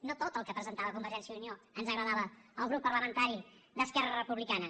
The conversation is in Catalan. no tot el que presentava convergència i unió ens agradava al grup parlamentari d’esquerra republicana